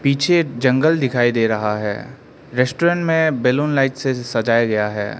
पीछे जंगल दिखाई दे रहा है रेस्टोरेंट में बैलून लाइट से सजाया गया है।